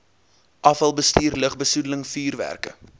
afvalbestuur lugbesoedeling vuurwerke